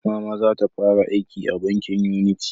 Mama za ta fara aiki a bankin Unity